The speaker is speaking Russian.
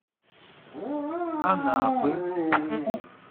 анапы